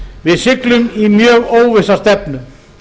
við siglum í mjög óvissa stefnu